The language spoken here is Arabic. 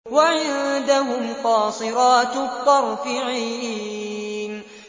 وَعِندَهُمْ قَاصِرَاتُ الطَّرْفِ عِينٌ